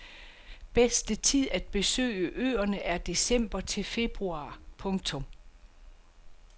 Bedste tid at besøge øerne er december til februar. punktum